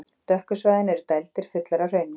Dökku svæðin eru dældir, fullar af hrauni.